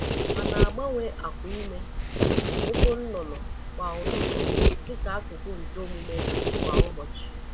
Ha na-agbanwe akwa ime ukwu nnụnụ kwa ụtụtụ dịka akụkụ nke omume ha kwa ụbọchị.